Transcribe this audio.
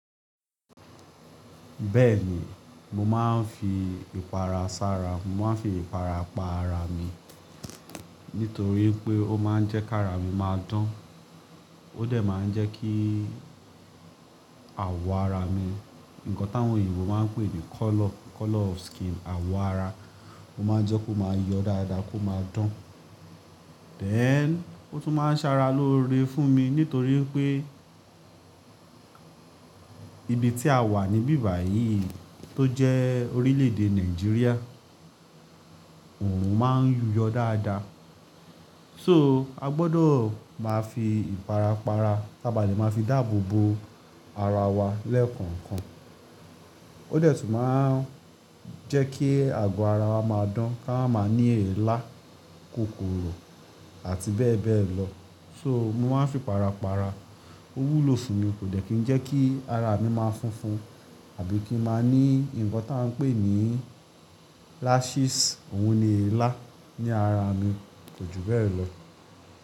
Bẹ́ẹ̀ni, mo máa ń fi ìpara sára, mo máa ń fi ìpara pa ara mi. Nítorí pé ó máa ń jẹ́ kara mi máa dán, ó dẹ̀ máa ń jẹ́ kí àwọ̀ ara mi, nǹkan táwọn òyìnbó máa ń pè ní colour, colour of skin, àwọ̀ ara, ó máa ń jẹ́ kó máa yọ dáadáa kó máa dán. Dẹn, ó tún máa ń ṣára lóore fún mi nítorí wípé ibi tí a wà níbí báyìí tó jẹ́ orílẹ̀-èdè Nàìjíríà, òòrùn máa ń yú yọ dáadáa. So a gbọdọ̀ máa fi ìpara para, taba le máa fi dáàbò bo ara wa lẹ́ẹ̀kọ̀ọ̀kan. Ó dẹ̀ tún máa ń jẹ́ kí àgọ́ ara wa máa dán, ká máa ní èélá, kòkòrò àti bẹ́ẹ̀ bẹ́ẹ̀ lọ. So mo máa ń fi para para. Ó wúlò fún mi, kò dẹ̀ kí ń jẹ́ kí ara mi máa fúnfun àbí kí ń má ní nǹkan táa ń pè ní lashes, òun ni èélá ní ara mi ko jù bẹ́ẹ̀ lọ.